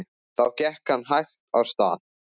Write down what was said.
Þá gekk hann hægt af stað.